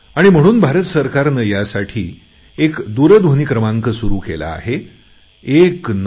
आणि म्हणून भारत सरकारने यासाठी एक दूरध्वनी क्रमांक सुरु केला आहे 1969